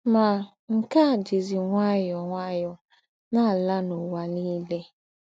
Mà, nke à jízí ǹwáyọ̀ọ́ ǹwáyọ̀ọ́ ná-àlà n’ụ́wà nìlè.